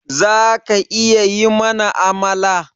Zaka iya yi mana Amala?